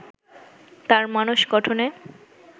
তাঁর মানস গঠনে